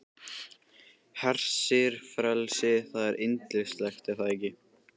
Hersir, frelsið, það er yndislegt er það ekki?